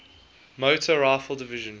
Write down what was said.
motor rifle division